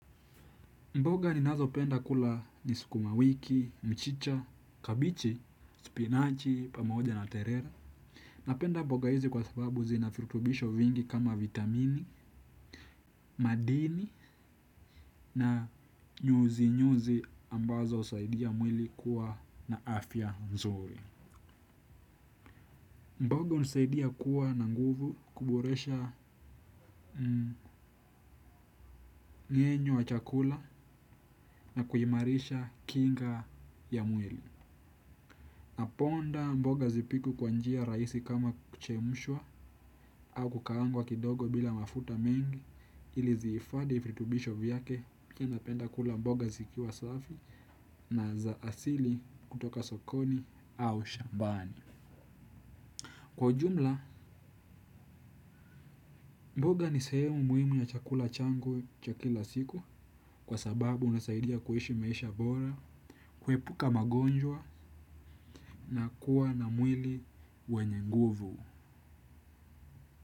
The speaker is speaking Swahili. Mboga ninazopenda kula ni sukuma wiki, mchicha, kabichi, spinachi, pamoja na terere. Napenda mboga hizi kwa sababu zina firutubisho vingi kama vitamini, madini na nyuzi nyuzi ambazo usaidia mwili kuwa na afya mzuri. Mboga unisaidia kuwa na nguvu kuboresha ngenyo wa chakula na kuimarisha kinga ya mwili. Naponda mboga zipikwe kwa njia raisi kama kuchemshwa au kukaangwa kidogo bila mafuta mengi ili ziifadhi fritubisho vyake pia napenda kula mboga zikiwa safi na za asili kutoka sokoni au shambani. Kwa ujumla, mboga ni sehemu muhimu ya chakula changu cha kila siku kwa sababu unasaidia kuishi maisha bora, kwepuka magonjwa na kuwa na mwili wenye nguvu.